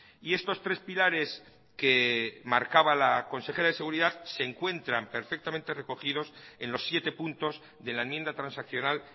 y estos tres pilares que marcaba la consejera de seguridad se encuentran perfectamente recogidos en los siete puntos de la enmienda transaccional